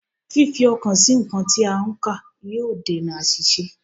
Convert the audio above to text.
Fífi ọkàn sí nǹkan tí a ń kà yóò dènà àṣìṣe